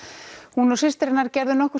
hún og systir hennar gerðu nokkurs